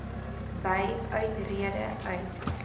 by uittrede uit